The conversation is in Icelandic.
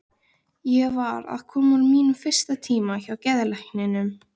Ég var að koma úr mínum fyrsta tíma hjá geðlækninum.